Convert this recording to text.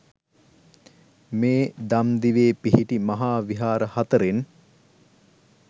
මේ දම්දිවේ පිහිටි මහා විහාර හතරෙන්